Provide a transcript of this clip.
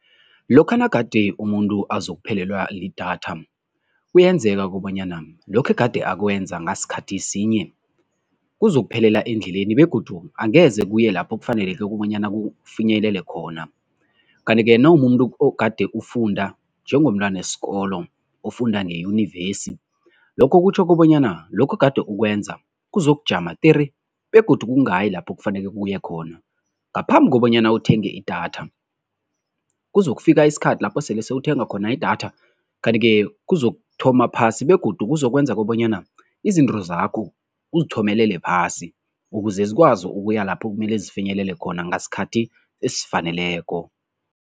Lokha nagade umuntu azokuphelelwa lidatha, kuyenzeka kobanyana lokha egade akwenze ngasikhathi sinye kuzokuphelela endleleni begodu angeze kuye lapho kufaneleke kobanyana kufinyelelwe khona. Kanti-ke nawumumuntu ogade ufunda, njengomntwana isikolo ofunda ngeyunivesi, lokho kutjho kobanyana lokho ogade ukwenza kuzokujama tere begodu kungayi lapho kufanele kuye khona, ngaphambi kobanyana uthenge idatha. Kuzokufika isikhathi lapho sele sewuthenga khona idatha kanti-ke kuzokuthoma phasi begodu kuzokwenza kobanyana izinto zakho uzithomelele phasi ukuze zikwazi ukuya lapho kumele zifinyelela khona ngasikhathi esifaneleko.